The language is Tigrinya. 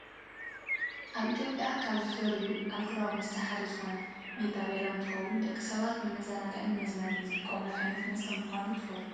ኣብ ኢትዮጵያ ካብ ዝፈርዩ ኣልኮላዊ መስተ ሓደ ዝኮነ ሜታ ቢራ እንትከውን ደቂ ሰባት ንመዘናግዕን ንመዝናነይን ዝጥቀሙሉ ዓይነት መስተ ምኳኑ ትፈልጡ ዶ?